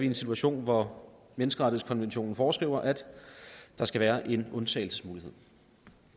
en situation hvor menneskerettighedskonventionen foreskriver at der skal være en undtagelsesmulighed